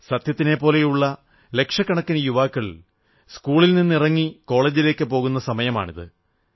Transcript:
സത്യത്തിനെപ്പോലുള്ള ലക്ഷക്കണക്കിന് യുവാക്കൾ സ്കൂളിൽ നിന്നിറങ്ങി കോളജിലേക്കു പോകുന്ന സമയമാണിത്